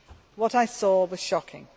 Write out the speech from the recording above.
What I saw was shocking.